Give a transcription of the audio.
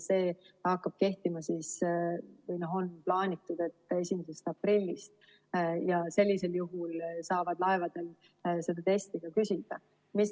On plaanitud, et see hakkab kehtima 1. aprillist, ja sellisel juhul saab laevadel seda testi ka küsida.